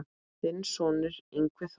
Þinn sonur, Yngvi Þór.